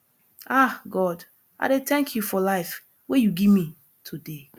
ah god i dey thank you for life wey you give me today